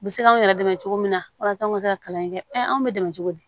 U bɛ se k'anw yɛrɛ dɛmɛ cogo min na walasa an ka se ka kalan in kɛ anw bɛ dɛmɛ cogo di